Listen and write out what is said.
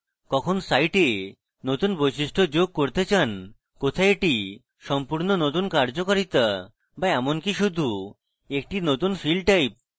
কখন site নতুন বৈশিষ্ট্য যোগ করতে চান কোথায় এটি একটি সম্পূর্ণ নতুন কার্যকারিতা বা এমনকি শুধু একটি নতুন field type